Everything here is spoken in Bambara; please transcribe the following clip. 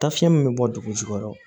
Taafiɲɛ min bɛ bɔ dugu jukɔrɔ